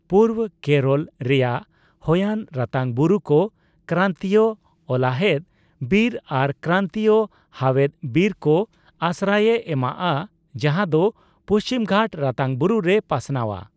ᱯᱩᱨᱵᱚᱽ ᱠᱮᱨᱚᱞ ᱨᱮᱭᱟᱜ ᱦᱚᱭᱟᱱ ᱨᱟᱛᱟᱝ ᱵᱩᱨᱩᱠᱚ ᱠᱨᱟᱱᱛᱤᱭᱚ ᱚᱞᱟᱦᱮᱫ ᱵᱤᱨ ᱟᱨ ᱠᱨᱟᱱᱛᱤᱭᱚ ᱦᱟᱣᱮᱫ ᱵᱤᱨᱠᱚ ᱟᱥᱨᱟᱭᱮ ᱮᱢᱟᱜᱼᱟ, ᱡᱟᱦᱟᱫᱚ ᱯᱩᱪᱷᱤᱢᱜᱷᱟᱴ ᱨᱟᱛᱟᱝ ᱵᱩᱨᱩᱨᱮ ᱯᱟᱥᱱᱟᱣᱟ ᱾